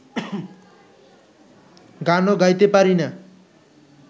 গানও গাইতে পারি না